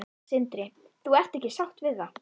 Sindri: Þú ert ekki sátt við það?